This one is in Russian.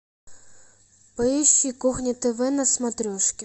поищи кухня тв на смотрешке